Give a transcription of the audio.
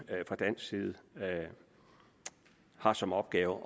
fra dansk side har som opgave